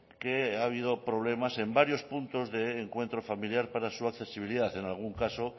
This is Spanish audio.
que ha habido problemas en varios puntos de encuentro familiar para su accesibilidad en algún caso